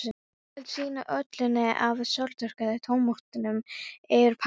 Helltu síðan olíunni af sólþurrkuðu tómötunum yfir pastað.